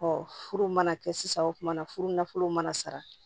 furu mana kɛ sisan o tumana furu nafolow mana sara